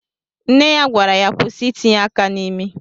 Nne ya gwara ya kwụsị itinye aka n'imi.